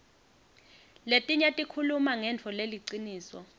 letinye tikhuluma ngentfo leliciniso